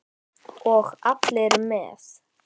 Og allir með.